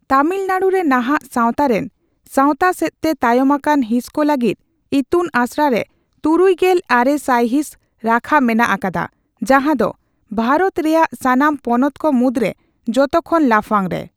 ᱛᱟᱢᱤᱞᱱᱟᱲᱩᱨᱮ ᱱᱟᱦᱟᱜ ᱥᱟᱣᱛᱟ ᱨᱮᱱ ᱥᱟᱣᱛᱟᱥᱮᱫᱛᱮ ᱛᱟᱭᱚᱢ ᱟᱠᱟᱱ ᱦᱤᱸᱥᱠᱚ ᱞᱟᱹᱜᱤᱫ ᱤᱛᱩᱱ ᱟᱥᱲᱨᱮ ᱛᱩᱨᱩᱭ ᱜᱮᱞ ᱟᱨᱮ ᱥᱟᱭᱦᱤᱸᱥ ᱨᱟᱠᱷᱟ ᱢᱮᱱᱟᱜ ᱟᱠᱟᱫᱟ, ᱡᱟᱦᱟᱸ ᱫᱚ ᱵᱷᱟᱨᱚᱛᱛ ᱨᱮᱭᱟᱜ ᱥᱟᱱᱟᱢ ᱯᱚᱱᱚᱛᱠᱚ ᱢᱩᱫᱽᱨᱮ ᱡᱚᱛᱚ ᱠᱷᱚᱱ ᱞᱟᱯᱷᱟᱝᱨᱮ ᱾